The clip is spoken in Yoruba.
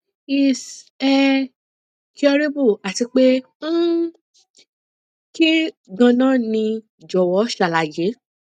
is é curable àti pé um kín ganan ni jọwọ ṣàlàyé